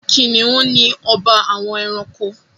Kìnìnú ni ọba àwọn ẹranko.